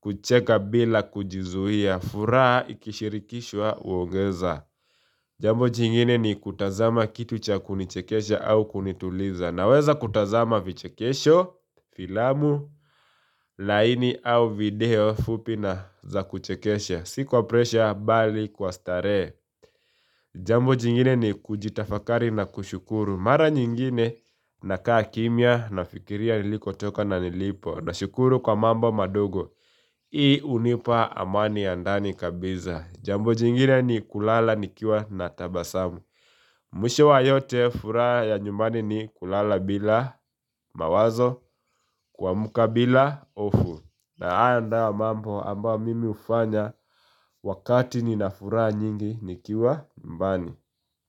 kucheka bila kujizuia furaha ikishirikishwa huongeza Jambo jingine ni kutazama kitu cha kunichekesha au kunituliza Naweza kutazama vichekesho, filamu, laini au video fupi na za kuchekesha Sikuwa presha bali kwa starehe Jambo jingine ni kujitafakari na kushukuru Mara nyingine na kaa kimya nafikiria niliko toka na nilipo na shukuru kwa mambo madogo Hii hunipa amani ya ndani kabisa Jambo jingine ni kulala nikiwa na tabasamu Mwisho wa yote furaha ya nyumbani ni kulala bila mawazo kuamka bila hofu na hayo nda mambo ambayo mimi hufanya wakati nina furaha nyingi nikiwa nyumbani.